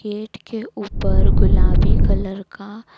gate के ऊपर गुलाबी कलर का--